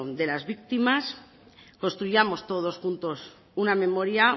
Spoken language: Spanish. de las víctimas construyamos todos juntos una memoria